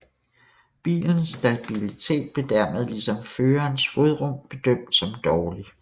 Bilens stabilitet blev dermed ligesom førerens fodrum bedømt som dårlig